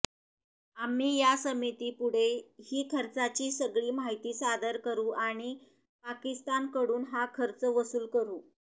आम्ही या समितीपुढे ही खर्चाची सगळी माहिती सादर करू आणि पाकिस्तानकडून हा खर्च वसूल करू